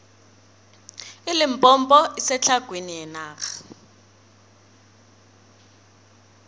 ilimpompo isetlhagwini yenarha